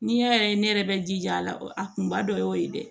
N'i y'a ye ne yɛrɛ bɛ jij'a la a kunba dɔ y'o ye dɛ